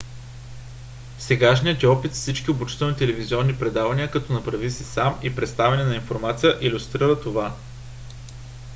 сегашният ни опит с всичките обучителни телевизионни предавания като направи си сам и представяне на информация илюстрира това